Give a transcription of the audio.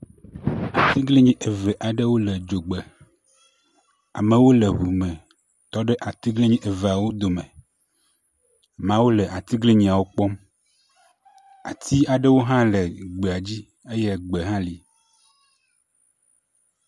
Atiglinyi aɖewo le dzogbe, amewo le ŋu me tɔ ɖe atiglinyi eveawo dome. Amewo le atiglinyiawo kpɔm. ati aɖewo hã le gbea dzi eye egbe hã le.